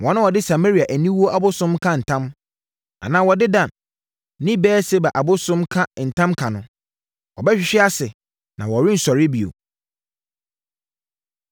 Wɔn a wɔde Samaria aniwuo abosom ka ntam, anaa wɔde Dan ne Beer-Seba abosom ka ntamka no, wɔbɛhwehwe ase na wɔrensɔre bio.”